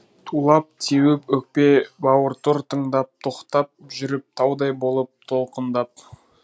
тулап теуіп өкпе бауыртұр тыңдап тоқтап жүріп таудай болып толқындап